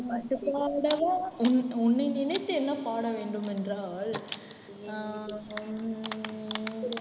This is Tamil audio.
பாட்டு பாடவா வா உன்னை நினைத்து என்ன பாட வேண்டும் என்றால் அஹ் உம்